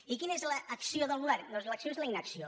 i quina és l’acció del govern doncs l’acció és la in·acció